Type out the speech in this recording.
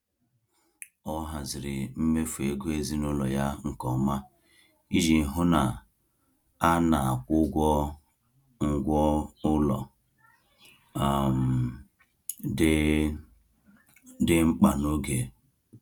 Ọ haziri mmefu ego ezinụlọ ya nke ọma iji hụ na a na-akwụ ụgwọ ngwa ụlọ um dị dị mkpa n’oge.